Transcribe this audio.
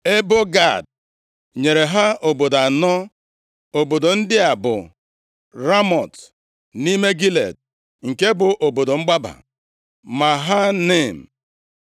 Ebo Gad nyere ha obodo anọ. Obodo ndị a bụ, Ramọt, nʼime Gilead nke bụ obodo mgbaba, Mahanaim,